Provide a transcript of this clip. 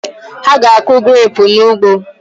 Ha ga-akụ grapụ n'ugbo